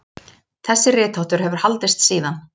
Þessi ritháttur hefur haldist síðan.